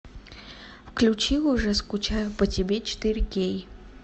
включи уже скучаю по тебе четыре кей